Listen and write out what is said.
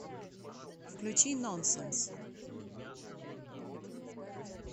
включи нонсенс